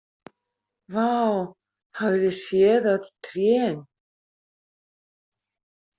Vá, hafið þið séð öll trén?